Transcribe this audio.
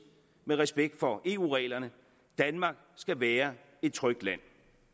med respekt for eu reglerne danmark skal være et trygt land